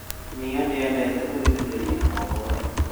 Niĩ ndiendete gũthikĩrĩria mohoro